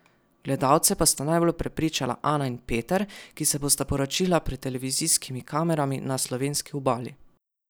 Gledalce pa sta najbolj prepričala Ana in Peter, ki se bosta poročila pred televizijskimi kamerami na slovenski obali.